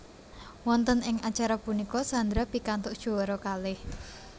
Wonten ing acara punika Sandra pikantuk juara kalih